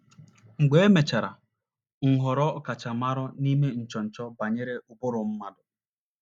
Mgbe e mechara, m ghọrọ ọkachamara n’ime nchọnchọ banyere ụbụrụ mmadụ.